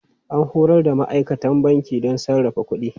An horar da ma'aikatan banki don sarrafa kuɗi.